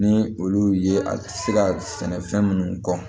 Ni olu ye a se ka sɛnɛfɛn minnu kɔ